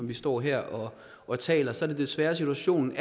vi står her og taler så er det desværre situationen